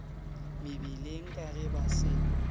mebileng ka ge ba se